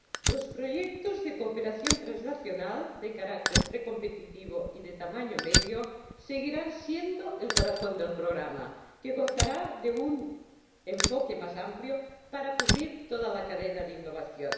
Los proyectos de cooperación transnacional, de carácter precompetitivo y de tamaño mediano, seguirán siendo el corazón del programa, que gozará de un enfoque más amplio para cubrir toda la cadena de innovación.